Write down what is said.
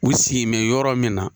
U sigilen bɛ yɔrɔ min na.